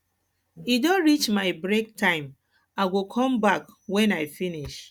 e don reach my break time time i go come back wen i finish